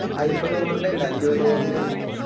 അയിമ്പത് Over ൻറെ അല്ല ഇരുപത് Over ൻറെ ആരുന്നു